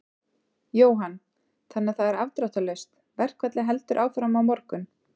Jóhann: Þannig að það er afdráttarlaust, verkfallið heldur áfram á morgun?